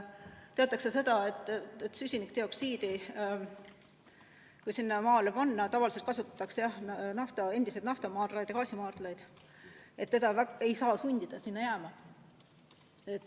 Teatakse seda, et kui süsinikdioksiid sinna maa alla panna – tavaliselt kasutatakse endiseid naftamaardlaid ja gaasimaardlaid –, siis teda ei saa sundida sinna jääma.